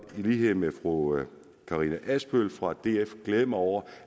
lighed med fru karina adsbøl fra df glæde mig over